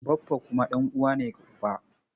Baffa kuma ɗan'uwa ne ga uba.